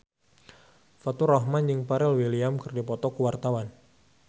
Faturrahman jeung Pharrell Williams keur dipoto ku wartawan